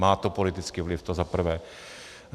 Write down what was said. Má to politický vliv, to za prvé.